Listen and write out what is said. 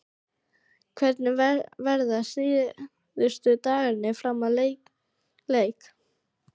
Hvernig verða síðustu dagarnir fram að leik?